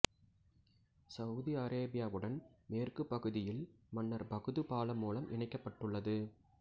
Saudi அரேபியாவுடன் மேற்குப் பகுதியில் மன்னர் பகுது பாலம் மூலம் இணைக்கப்பட்டுள்ளது